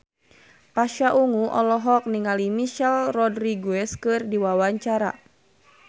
Pasha Ungu olohok ningali Michelle Rodriguez keur diwawancara